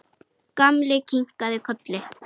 Gamli kinkaði kolli.